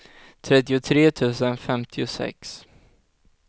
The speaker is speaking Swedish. trettiotre tusen femtiosex